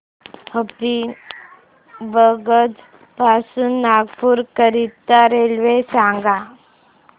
हबीबगंज पासून नागपूर करीता रेल्वे सांगा